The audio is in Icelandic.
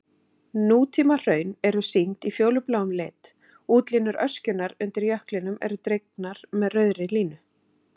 Nútímahraun eru sýnd í fjólubláum lit, útlínur öskjunnar undir jöklinum eru dregnar með rauðri línu.